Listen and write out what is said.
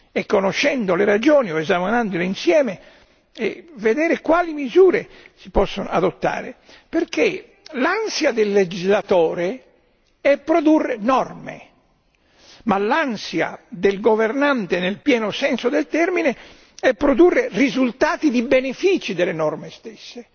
e conoscendo le ragioni o esaminandole insieme vedere quali misure si possono adottare, perché l'ansia del legislatore è produrre norme, ma l'ansia del governante nel pieno senso del termine è produrre risultati in termini di benefici delle norme stesse.